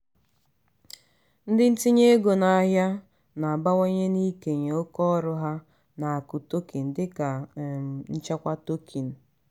ndị ntinye ego n'ahịa na-abawanye n'ikenye oke ọrụ ha n'akụ tokin dịka um nchekwa tokin.